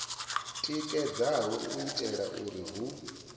tikedzaho u itela uri hu